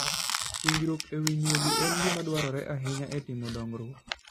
Puonjruok e wi nyuogi en gima dwarore ahinya e timo dongruok.